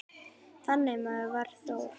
Þannig maður var Þór.